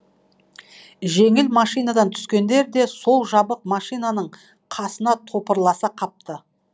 жеңіл машинадан түскендер де сол жабық машинаның қасына топырласа қапты